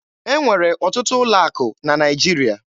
E nwere ọtụtụ ụlọ akụ na Naịjirịa.